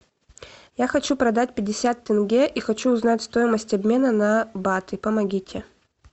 я хочу продать пятьдесят тенге и хочу узнать стоимость обмена на баты помогите